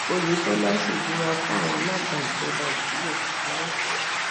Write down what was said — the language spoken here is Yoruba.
oyetola ṣèbùrà fún àwọn alága ìjọba ìbílẹ tuntun lọsùn